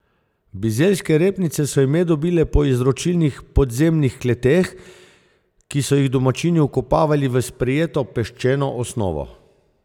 Bizeljske repnice so ime dobile po izročilnih podzemnih kleteh, ki so jih domačini vkopavali v sprijeto peščeno osnovo.